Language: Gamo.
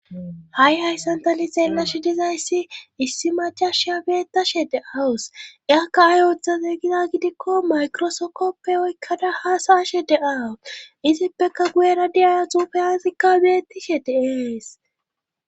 ha7i hayssan ta li xeellashe dizayssi issi macash abeettashe de awus iakka ay ooththaze gida gidikko maykrosokoppe oykkada haasaashe de7awus izippeka guyena diyaaya tufeyasikka beettishe deees